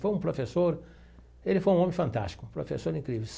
Foi um professor, ele foi um homem fantástico, um professor incrível.